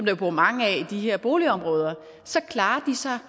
jo bor mange af i de her boligområder at så klarer de sig